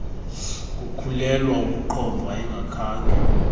kukhulelwa ukuqhomfa ungakhange